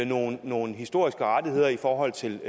nogle nogle historiske rettigheder i forhold til